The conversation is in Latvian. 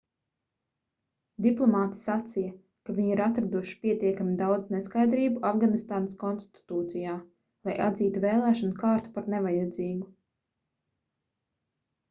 diplomāti sacīja ka viņi ir atraduši pietiekami daudz neskaidrību afganistānas konstitūcijā lai atzītu vēlēšanu kārtu par nevajadzīgu